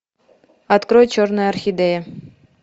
открой черная орхидея